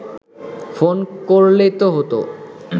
phone করলেই তো হতো